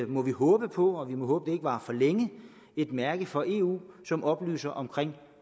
må vi håbe på og vi må håbe ikke varer for længe et mærke fra eu som oplyser om